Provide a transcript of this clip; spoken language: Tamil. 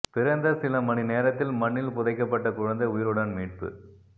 பிறந்த சில மணி நேரத்தில் மண்ணில் புதைக்கப்பட்ட குழந்தை உயிருடன் மீட்பு